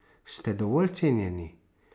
Ste dovolj cenjeni?